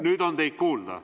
Nüüd on teid kuulda.